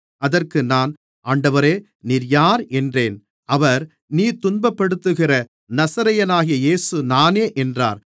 அதற்கு நான் ஆண்டவரே நீர் யார் என்றேன் அவர் நீ துன்பப்படுத்துகிற நசரேயனாகிய இயேசு நானே என்றார்